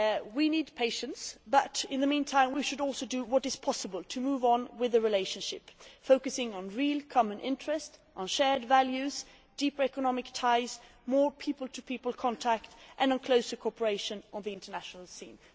We need patience, but in the meantime we should also do what is possible to move on with the relationship, focusing on real common interests, shared values, deeper economic ties, more people to people contact and closer cooperation on the international scheme.